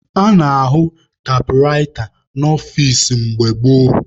A na-ahụ taịpụraịta n'ọfici mgbe gboo.